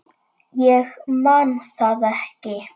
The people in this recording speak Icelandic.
Ég man það ekki.